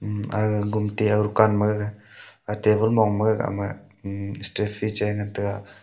um aga gumti aga dukan gaga table mong mong ma ema stayfree chai ngan taiga.